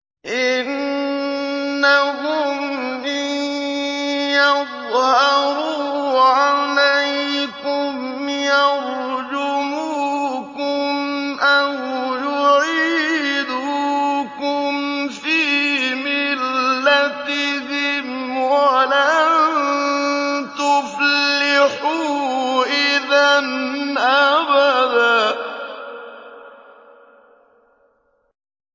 إِنَّهُمْ إِن يَظْهَرُوا عَلَيْكُمْ يَرْجُمُوكُمْ أَوْ يُعِيدُوكُمْ فِي مِلَّتِهِمْ وَلَن تُفْلِحُوا إِذًا أَبَدًا